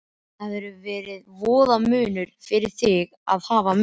Það hefði verið voða munur fyrir þig að hafa mig.